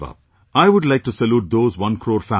I would like to salute those one crore families